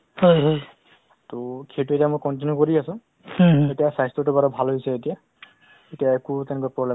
হয়, তেনেকুৱা মানে আপোনাৰ অসামৰিক চিকিৎসা প চিকিৎসালয়বোৰত আপোনাৰ অ আমাৰ আমাৰফালেদি আমি support কৰি আছিলো তেওঁলোকক